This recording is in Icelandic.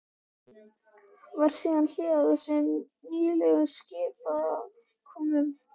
Varð síðan hlé á þessum nýstárlegu skipakomum.